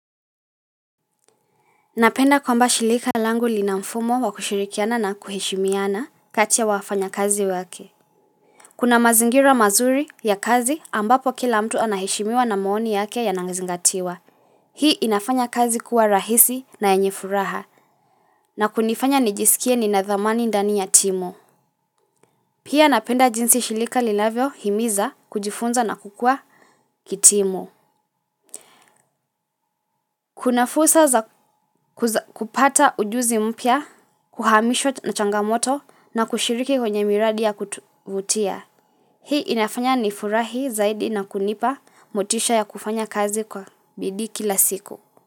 Napenda kwamba shilika langu linamfumo wakushirikiana na kuheshimiana kati ya wafanya kazi wake. Kuna mazingira mazuri ya kazi ambapo kila mtu anaheshimiwa na maoni yake yanazingatiwa. Hii inafanya kazi kuwa rahisi na yenye furaha na kunifanya nijisikie nina dhamani ndani ya timu. Pia napenda jinsi shilika linavyo himiza kujifunza na kukua kitimu. Kuna fursa za kupata ujuzi mpya, kuhamishwa na changamoto na kushiriki kwenye miradi ya kutuvutia. Hii inafanya ni furahi zaidi na kunipa motisha ya kufanya kazi kwa bidii kila siku.